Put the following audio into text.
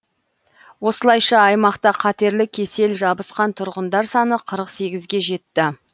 осылайша аймақта қатерлі кесел жабысқан тұрғындар саны қырық сегізге жетті